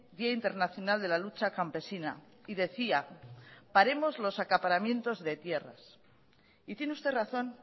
día internacional de la lucha campesina y decía paremos los acaparamientos de tierras y tiene usted razón